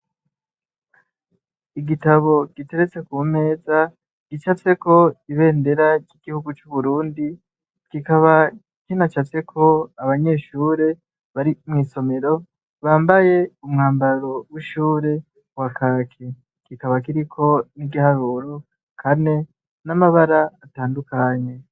Igitabo giteretse ku meza gica tseko ibendera ry'igihugu c'uburundi, gikaba kinaca tseko abanyeshure bari mw'isomero bambaye umwambaro w'ishure wa kake, gikaba kiriko n'igiharuro kane N’amabara atandukanye.